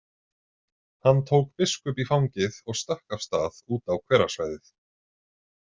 Hann tók Biskup í fangið og stökk af stað út á hverasvæðið.